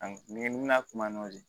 ni n bɛna kuma nɔfɛ